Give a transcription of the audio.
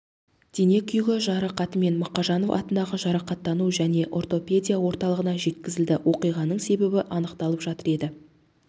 дене күйігі жарақатымен мақажанов атындағы жарақаттану және ортопедия орталығына жеткізілді оқиғаның себебі анықталып жатыр деді